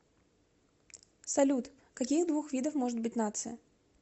салют каких двух видов может быть нация